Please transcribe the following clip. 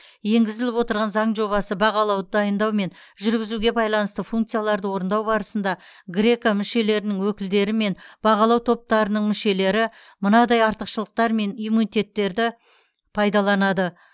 енгізіліп отырған заң жобасы бағалауды дайындау мен жүргізуге байланысты функцияларды орындау барысында греко мүшелерінің өкілдері мен бағалау топтарының мүшелері мынадай артықшылықтар мен иммунитеттерді пайдаланады